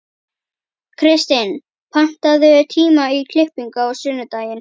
Kirstín, pantaðu tíma í klippingu á sunnudaginn.